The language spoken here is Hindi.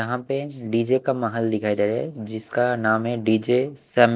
यहां पे डी_जे का महल दिखाई दे रहा है जिसका नाम है डी_जे सेम--